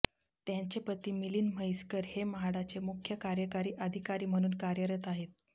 त्यांचे पती मिलिंद म्हैसकर हे म्हाडाचे मुख्य कार्यकारी अधिकारी म्हणून कार्यरत आहेत